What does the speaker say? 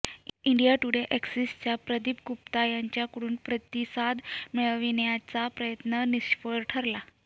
India Today अॅक्सिसच्या प्रदीप गुप्ता यांच्याकडून प्रतिसाद मिळविण्याचा प्रयत्न निष्फळ ठरला